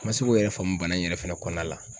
N ma se k'o yɛrɛ faamu bana in yɛrɛ fɛnɛ kɔnɔna la